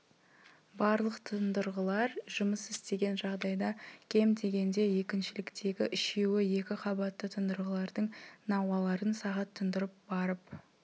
барлық тұндырғылар жұмыс істеген жағдайда кем дегенде екіншіліктегі үшеуі екі қабатты тұндырғылардың науаларын сағат тұндырып барып